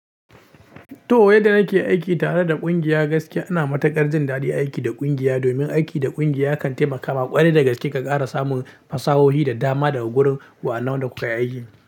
Toh wai da ake aiki tare da ƙungiya gaskiya ina matukar jin daɗin aiki da kungiya domin aiki da kungiya kan taimakama ƙwarai da gaske ka ƙara samun fasahohi da dama daga wurin waɗannan wan da kuka yi aikin.